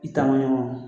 I taa man ɲɔgɔn